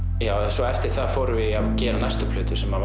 svo eftir það förum við að gera næstu plötu sem